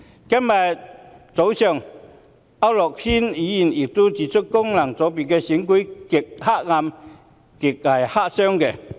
今天早上，區諾軒議員亦批評，功能界別選舉"極黑暗"、"極黑箱"。